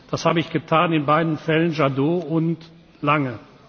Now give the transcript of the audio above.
Das habe ich getan, in beiden Fällen, Jadot und Lange.